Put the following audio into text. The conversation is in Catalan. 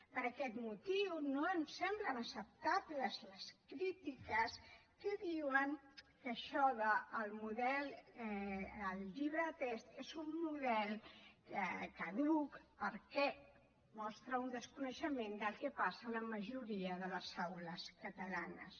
per aquest motiu no em semblen acceptables les crítiques que diuen que el llibre de text és un model caduc perquè mostra un desconeixement del que passa a la majoria de les aules catalanes